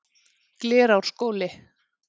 Glerárskóli